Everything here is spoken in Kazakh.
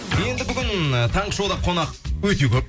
енді бүгін таңғы шоуда қонақ өте көп